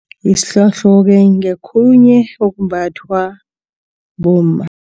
Isihlohlo-ke ngokhunye okumbathwa bomma.